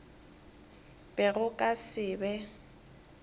be go ka se be